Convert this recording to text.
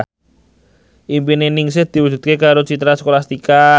impine Ningsih diwujudke karo Citra Scholastika